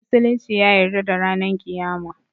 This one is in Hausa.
Musulunci ya yarda da ranan kiyama